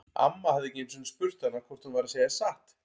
Amma hafði ekki einu sinni spurt hana hvort hún væri að segja satt.